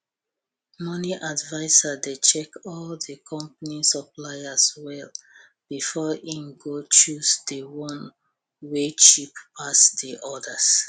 moni adviser dey check all the company suppliers well befor im go choose di one wey cheap pass di odas